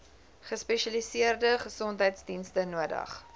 gespesialiseerde gesondheidsdienste nodig